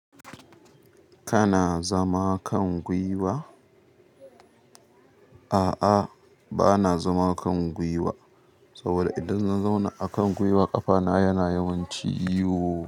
Kana zama kan gwiwa? A'a, ba na zama kan gwiwa. Saboda idan in zauna akan gwiwa ƙafa na yana yimun ciwo.